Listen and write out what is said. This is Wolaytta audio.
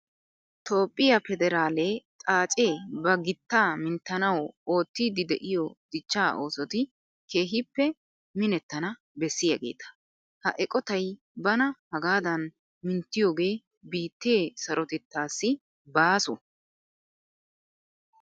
Toophphiya federaale xaacee ba gittaa minttanawu oottiiddi de'iyo dichchaa oosoti keehippe minettana bessiyageeta. Ha eqotay bana hagaadan minttiyogee biittee sarotettaassi baaso.